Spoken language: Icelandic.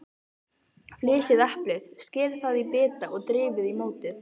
Flysjið eplið, skerið það í bita og dreifið í mótið.